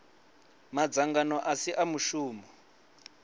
madzangano a si a muvhuso